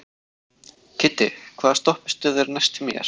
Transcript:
Kiddi, hvaða stoppistöð er næst mér?